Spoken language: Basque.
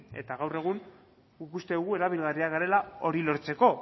eta gaur egun guk uste dugu erabilgarriak garela hori lortzeko